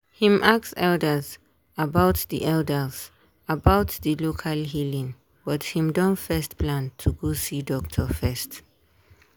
him ask elders about di elders about di local healing but him don first plan to go see doctor first.